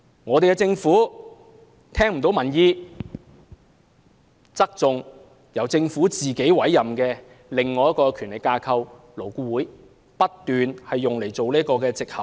我們的政府沒有聽取民意，偏袒由政府委任的另一個權力架構，即勞工顧問委員會，不斷以它作為藉口。